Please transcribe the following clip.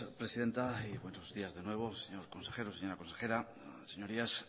presidenta y buenos días de nuevo señor consejero señora consejera señorías